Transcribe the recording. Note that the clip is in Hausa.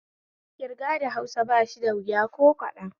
Ƙirga da Hausa bashi da wuya ko kaɗan